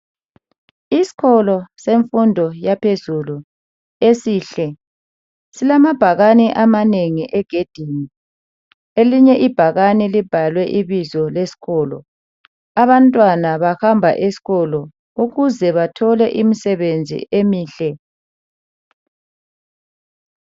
Isikolo semfundo yaphezulu esihle silamabhakane amanengi egedini elinye ibhakane libhalwe ibizo leskolo .Abantwana bahamba eskolo ukuze bathole imsebenzi emihle .